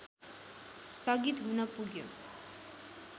स्थगित हुन पुग्यो